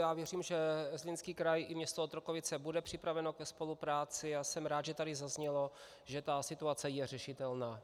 Já věřím, že Zlínský kraj i město Otrokovice budou připraveny ke spolupráci, a jsem rád, že tady zaznělo, že ta situace je řešitelná.